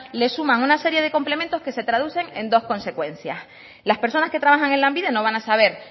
le suma una serie de complementos que se traducen en dos consecuencias las personas que trabajan en lanbide no van a saber